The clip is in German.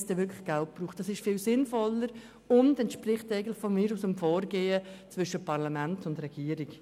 Das ist viel sinnvoller und entspricht dem Vorgehen zwischen Parlament und Regierung.